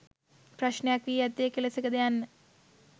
ප්‍රශ්නයක් වී ඇත්තේ කෙලෙසකද යන්න.